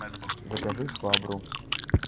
закажи швабру